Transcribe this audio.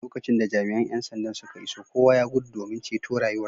Lokacin da jami’an ‘yan sandan suka iso kowa ya gudu domin ceto rayuwarsa.